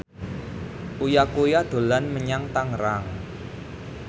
Uya Kuya dolan menyang Tangerang